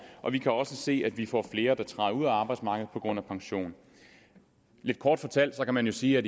og vi kan også se at vi får flere der træder ud af arbejdsmarkedet på grund af pension kort fortalt kan man jo sige at